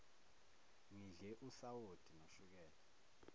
ngidle usawoti noshukela